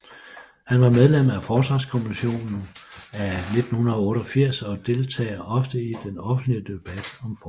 Han var medlem af Forsvarskommissionen af 1988 og deltager ofte i den offentlige debat om Forsvaret